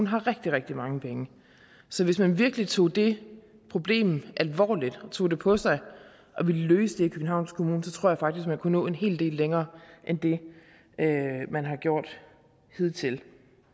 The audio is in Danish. har rigtig rigtig mange penge så hvis man virkelig tog det problem alvorligt og tog det på sig og ville løse det i københavns kommune så tror jeg faktisk man kunne nå en hel del længere end det man har gjort hidtil